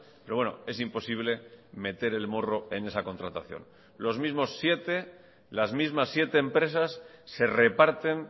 pero bueno es imposible meter el morro en esa contratación los mismos siete las mismas siete empresas se reparten